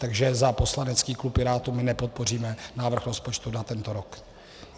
Takže za poslanecký klub Pirátů - my nepodpoříme návrh rozpočtu na tento rok.